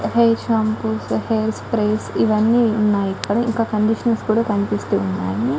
Hair shampoos hair sprays ఇవన్నీ ఉన్నాయి ఇక్కడ ఇంకా కండీషనర్స్ కూడా కనిపిస్తూ ఉన్నాయి .